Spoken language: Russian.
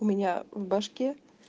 у меня в башке